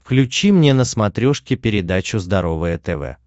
включи мне на смотрешке передачу здоровое тв